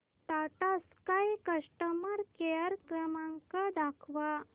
Tata Sky customer care क्रमांक दाखवा